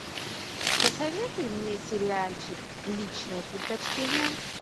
посоветуй мне сериальчик личное предпочтение